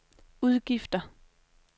udgifter